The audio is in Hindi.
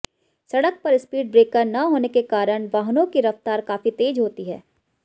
सड़क पर स्पीड ब्रेकर न होने के कारण वाहनों की रफ्तार काफी तेज होती है